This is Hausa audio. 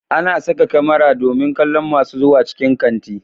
Ana saka kamara domin kallon masu zuwa cikin kanti